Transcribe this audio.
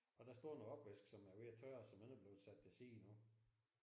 Og der står noget opvask som er ved at tørre om ikke er blevet sat til side endnu